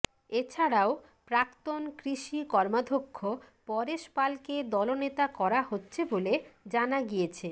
এছাড়াও প্রাক্তন কৃষি কর্মাধ্যক্ষ পরেশ পালকে দলনেতা করা হচ্ছে বলে জানা গিয়েছে